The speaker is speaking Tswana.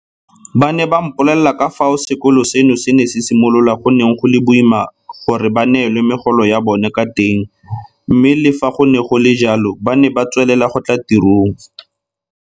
Ba ne ba mpolelela ka fao fa sekolo seno se ne se simolola go neng go le boima gore ba neelwe megolo ya bona ka teng mme le fa go ne go le jalo ba ne ba tswelela go tla tirong.